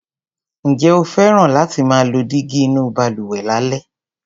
Ǹjẹ́ o fẹ́ràn láti máa lo dígí inú balùwẹ̀ lálẹ́?